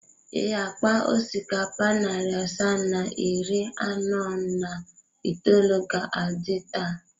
Ee, akpa osikapa narị asaa na iri anọ na itoolu ga-adị taa.